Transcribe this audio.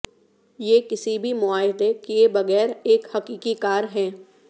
یہ کسی بھی معاہدہ کئے بغیر ایک حقیقی کار ہے